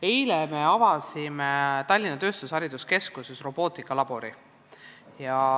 Eile me avasime Tallinna Tööstushariduskeskuses robootikalabori.